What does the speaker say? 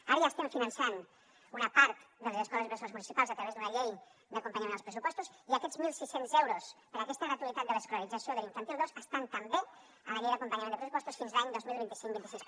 ara ja estem finançant una part de les escoles bressol municipals a través d’una llei d’acompanyament als pressupostos i aquests mil sis cents euros per a aquesta gratuïtat de l’escolarització de l’infantil dos estan també a la llei d’acompanyament de pressupostos fins a l’any dos mil vint cinc dos mil vint sis